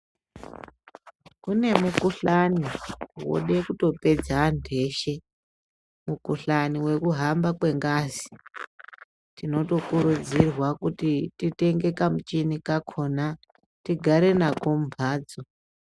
Kune mukuhlani woda kutopedza antu eshe mukuhlani wekuhamba kwengazi tinotokurudzirwa kuti titenge kamuchini kakona tigare nako kumbatso.